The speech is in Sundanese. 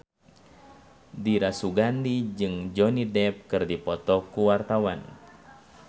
Dira Sugandi jeung Johnny Depp keur dipoto ku wartawan